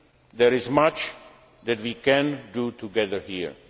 shared values. There is much that we can